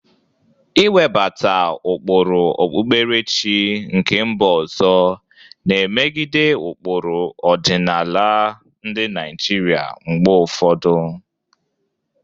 Iwebata ụkpụrụ okpukperechi nke mba ọzọ na-emegide ụkpụrụ ọdịnala ndị Naijiria mgbe ụfọdụ.